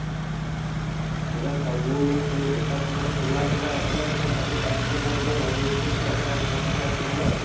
ପୁରା ସବୁ feel ଏକ ସାଙ୍ଗରେ ଥିଲା ଥିଲା ଆସିଲା ପୁରା ସବୁ capture କରିଦେଲା Bollywood କୁ ପୁରା ପୁରା ଗ୍ରାସୀ ଗଲା ଆଉ